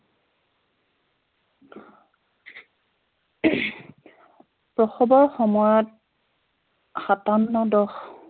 প্ৰসৱৰ সময়ত